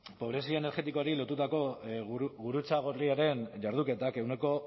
pobrezia energetikoari lotutako gurutze gorriaren jarduketak ehuneko